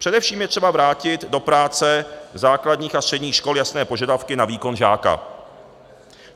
Především je třeba vrátit do práce základních a středních škol jasné požadavky na výkon žáka.